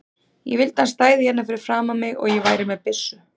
Ég vildi að hann stæði hérna fyrir framan mig og ég væri með byssu.